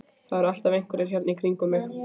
Það eru alltaf einhverjir hérna í kringum mig.